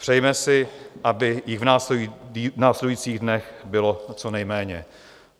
Přejme si, abych jich v následujících dnech bylo co nejméně.